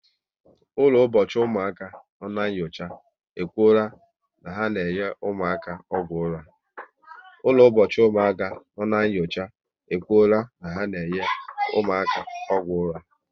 Ụlọ ụbọchị ụmụaka nọ n' nyocha, e kwụrụ na ha na enye ụmụaka ọgwụ ụra